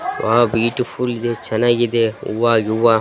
ಆಹ್ಹ್ beautiful ಚೆನ್ನಾಗಿದೆ ಹೂವ ಯುವ್ವ .